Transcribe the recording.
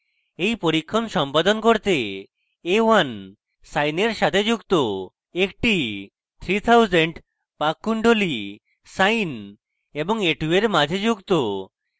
a1 পরীক্ষণ সম্পাদন করতে a1 sine a1 সাথে যুক্ত একটি 3000 পাক কুণ্ডলী sine এবং a2 a1 মাঝে যুক্ত